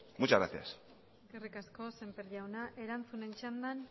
muchas gracias eskerrik asko semper jauna erantzunen txanda